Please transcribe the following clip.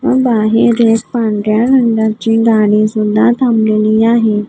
व बाहेर एक पांढऱ्या रंगाची गाडी सुद्धा थांबलेली आहे.